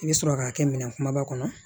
I bɛ sɔrɔ k'a kɛ minɛn kumaba kɔnɔ